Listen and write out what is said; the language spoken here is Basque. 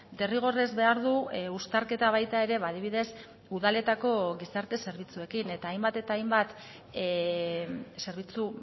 derrigorrez behar du uztarketa baita ere adibidez udaletako gizarte zerbitzuekin eta hainbat eta hainbat zerbitzu